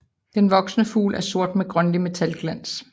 Den voksne fugl er sort med grønlig metalglans